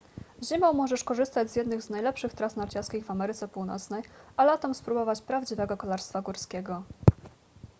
zimą możesz korzystać z jednych z najlepszych tras narciarskich w ameryce północnej a latem spróbować prawdziwego kolarstwa górskiego